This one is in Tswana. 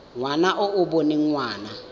ngwana e e boneng ngwana